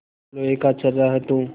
लोहा का छर्रा है तू